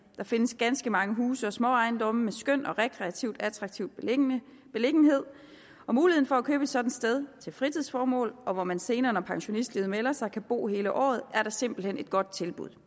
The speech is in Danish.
der findes ganske mange huse og småejendomme med en skøn rekreativ og attraktiv beliggenhed mulighed for at købe et sådant sted til fritidsformål hvor man senere når pensionistlivet melder sig kan bo hele året er da simpelt hen et godt tilbud